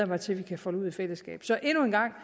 mig til at vi kan folde ud i fællesskab så endnu en gang